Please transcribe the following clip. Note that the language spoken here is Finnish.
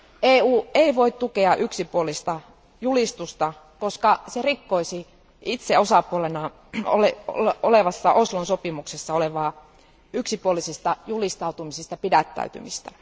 EU ei voi tukea yksipuolista julistusta, koska se rikkoisi itse osapuolena olevaan Oslon sopimukseen sisältyvää yksipuolisista julistautumisista pidättäytymistä.